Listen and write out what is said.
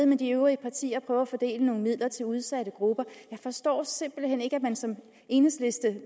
med de øvrige partier og og at fordele nogle midler til udsatte grupper jeg forstår simpelt hen ikke at man som medlem af enhedslisten